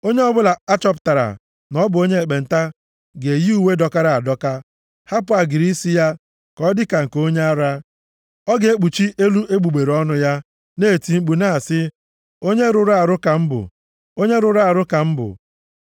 “Onye ọbụla a chọpụtara na ọ bụ onye ekpenta ga-eyi uwe dọkara adọka, hapụ agịrị isi ya ka ọ dịka nke onye ara. Ọ ga-ekpuchi elu egbugbere ọnụ ya, na-eti mkpu na-asị, ‘Onye rụrụ arụ ka m bụ. Onye rụrụ arụ ka m bụ!’